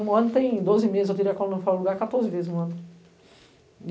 Um ano tem doze meses, eu tirei a coluna fora lugar quatorze vezes no ano.